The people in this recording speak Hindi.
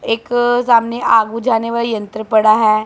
एक सामने आग बुझाने वाला यंत्र पड़ा है।